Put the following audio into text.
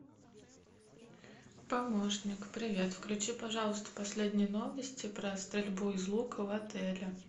помощник привет включи пожалуйста последние новости про стрельбу из лука в отеле